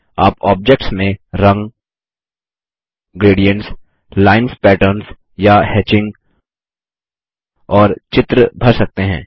आप ऑब्जेक्ट्स में रंग ग्रेडियन्ट्स लाइन्स पेटर्न्स या हेचिंग और चित्र भर सकते हैं